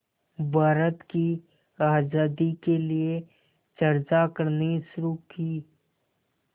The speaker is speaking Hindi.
भारत की आज़ादी के लिए चर्चा करनी शुरू की